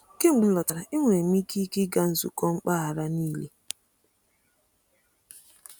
Kemgbe m lọtara, enwere m ike ike ịga nzukọ mpaghara niile.